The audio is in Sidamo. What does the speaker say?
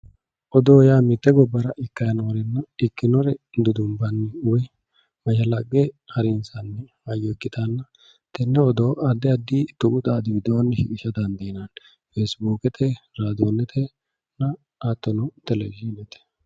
Odoo yaa mite gobbara ikkanni noore ikkinore dudumbanni woyi mashalaqqe harinsanni hayyo ikkittanna tene odoo addi addi tuqu xaadi widooni shiqqisha dandiinanni, Facibukete radonete hattono televishinete.